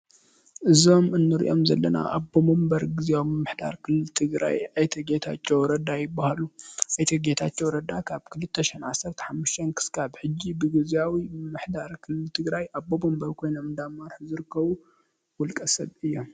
እዞም እንሪኦም ዘለና ኣቦ ወንበር ምምሕዳር ክልል ትግራይ አቶ ጌታቸው ረዳ ይበሃሉ። አቶ ጌታቸው ረዳ ካብ ክልተሸሕን ዓሰርተ ሓሙሽተን ክሳብ ሐዚ ብግዝያዊ ምምሕዳር ክልል ትግራይ ኣቦ ወንበር ኮይኖም እናመርሑ ዝርከቡ ውልቀ ሰብ እዮም።